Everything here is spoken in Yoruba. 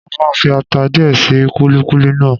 Mo máa fi ata díẹ̀ sí kúlíkúlí náà.